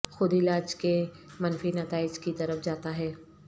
خود علاج کے منفی نتائج کی طرف جاتا ہے